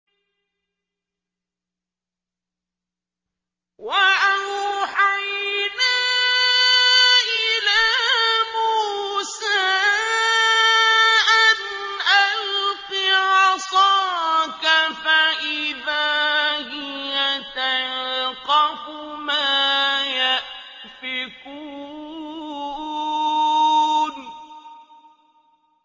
۞ وَأَوْحَيْنَا إِلَىٰ مُوسَىٰ أَنْ أَلْقِ عَصَاكَ ۖ فَإِذَا هِيَ تَلْقَفُ مَا يَأْفِكُونَ